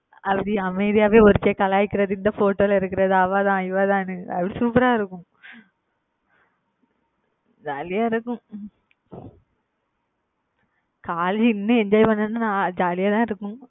அப்படியே அமைதியாவே ஒருத்தியை கலாய்க்கிறது இந்த photo ல இருக்கிறது அவதான் இவதான்னு. அப்படி super ஆ இருக்கும் jolly யா இருக்கும் காலேஜ்ல இன்னும் enjoy பண்றதுன்னா jolly யாதான் இருக்கும்